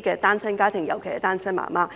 的單親家庭，尤其是單親媽媽。